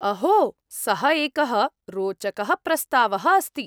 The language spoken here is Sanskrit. अहो, सः एकः रोचकः प्रस्तावः अस्ति।